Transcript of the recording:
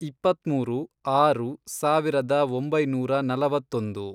ಇಪ್ಪತ್ಮೂರು, ಆರು, ಸಾವಿರದ ಒಂಬೈನೂರ ನಲವತ್ತೊಂದು